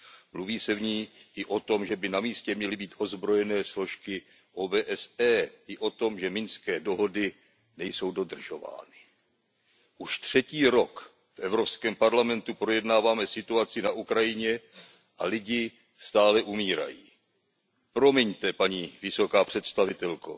Mluví se v ní i o tom, že by na místě měly být ozbrojené složky OBSE, i o tom, že minské dohody nejsou dodržovány. Už třetí rok v Evropském parlamentu projednáváme situaci na Ukrajině a lidé stále umírají. Promiňte, paní vysoká představitelko,